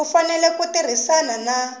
u fanele ku tirhisana na